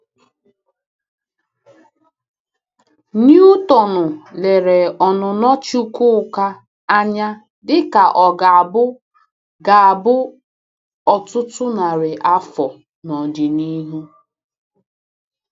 Newtonu lere ọnụnọ Chukwuka anya dị ka ọ ga-abụ ga-abụ ọtụtụ narị afọ n'ọdịnihu.